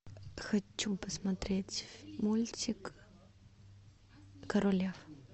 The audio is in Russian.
хочу посмотреть мультик король лев